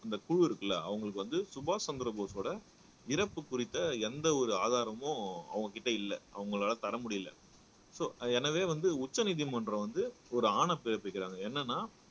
அந்த குழு இருக்குல்ல அவங்களுக்கு வந்து சுபாஷ் சந்திர போஸோட இறப்பு குறித்த எந்த ஒரு ஆதாரமும் அவங்ககிட்ட இல்ல அவங்களால தர முடியலை சோ எனவே வந்து உச்சநீதிமன்றம் வந்து ஒரு ஆணை பிறப்பிக்கிறாங்க என்னன்னா